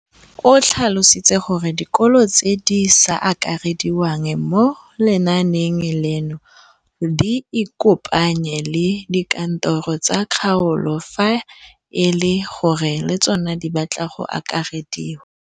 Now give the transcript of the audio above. O tlhalositse gore dikolo tse di sa akarediwang mo lenaaneng leno di ikopanye le dikantoro tsa kgaolo fa e le gore le tsona di batla go akarediwa.